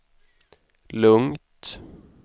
lugnt